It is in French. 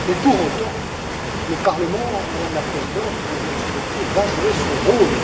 Mais, pour autant, le Parlement, Madame la Présidente, Mesdames et Messieurs les députés, va jouer son rôle.